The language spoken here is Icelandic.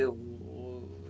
og